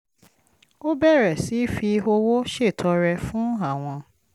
ó bẹ̀rẹ̀ sí fi owó ṣètọrẹ fún àwọn